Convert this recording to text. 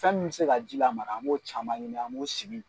Fɛn min m se ka ji lamara an b'o caman ɲini an b'o sigi